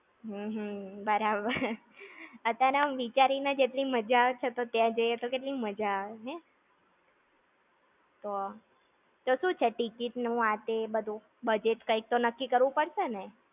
હમ્મ, બરાબર. અતારે આમ વિચારી ને જ એટલી મજા આવે છે તો, ત્યાં જઈ એ તો કેટલી મજા આવે, હે? તો. તો શું છે ticket નું ને આ તે બધું? Budget કંઈક તો નક્કી કરવું પડશે ને?